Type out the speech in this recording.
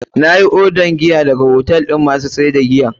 Na yi odar giya daga hotel masu sayar da giyan.